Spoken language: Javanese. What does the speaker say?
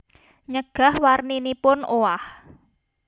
Nyegah warninipun owah